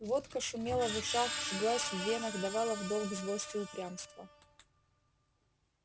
водка шумела в ушах жглась в венах давала в долг злость и упрямство